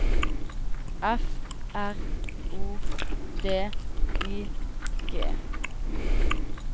F R O D I G